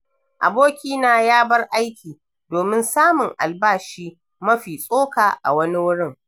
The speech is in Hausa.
Abokina ya bar aiki domin samun albashi mafi tsoka a wani wurin.